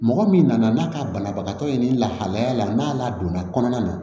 Mɔgɔ min nana n'a ka banabagatɔ ye nin lahalaya la n'a ladonna kɔnɔna na